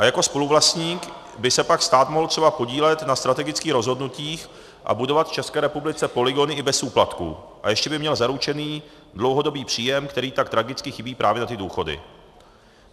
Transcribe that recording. A jako spoluvlastník by se pak stát mohl třeba podílet na strategických rozhodnutích a budovat v České republice polygony i bez úplatků, a ještě by měl zaručený dlouhodobý příjem, který tak tragicky chybí právě na ty důchody.